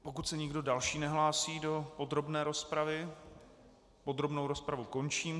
Pokud se nikdo další nehlásí do podrobné rozpravy, podrobnou rozpravu končím.